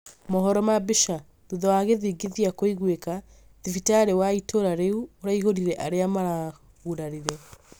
mohoro ma mbica, thutha wa gĩthingithia kũigwika, thibitarĩ wa itũra rĩu ũraihũrire arĩa maragurarire